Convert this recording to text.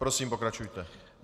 Prosím, pokračujte.